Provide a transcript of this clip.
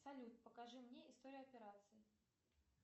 салют покажи мне историю операций